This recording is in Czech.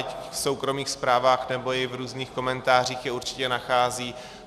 Ať v soukromých zprávách nebo i v různých komentářích je určitě nachází.